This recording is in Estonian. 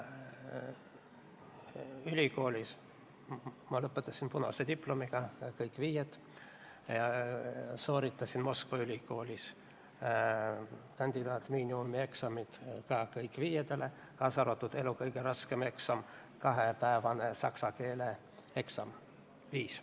Ülikooli ma lõpetasin punase diplomiga – kõik viied – ja sooritasin Moskva ülikoolis kandidaadimiinimumi eksamid ka kõik viitele, kaasa arvatud elu kõige raskem eksam, kahepäevane saksa keele eksam oli viis.